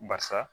Basa